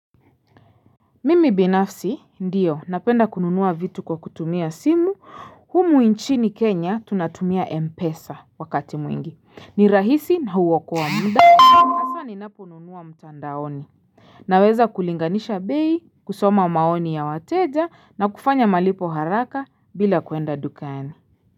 Mimi binafsi, ndiyo, napenda kununua vitu kwa kutumia simu, humu nchini Kenya tunatumia M pesa wakati mwingi, ni rahisi na huokoa muda, haswa ninaponunua mtandaoni. Naweza kulinganisha bei, kusoma maoni ya wateja na kufanya malipo haraka bila kwenda dukani.